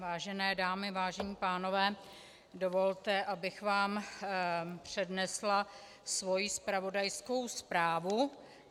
Vážené dámy, vážení pánové, dovolte, abych vám přednesla svoji zpravodajskou zprávu.